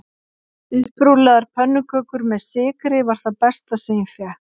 Upprúllaðar pönnukökur með sykri var það besta sem ég fékk